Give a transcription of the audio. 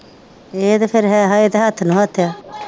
ਇਹ ਤੇ ਫੇਰ ਹੈ ਹਜੇ ਤੇ ਹੱਥ ਨੂੰ ਹੱਥ ਯਾ